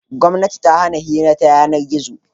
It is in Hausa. Gwamnati ta hana hira ta yanar-gizo.